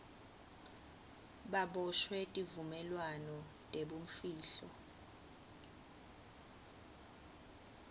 baboshwe tivumelwano tebumfihlo